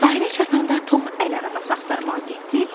Sahilə çatanda Tom əl arabası axtarmağa getdi.